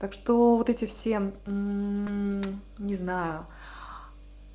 так что вот эти все не знаю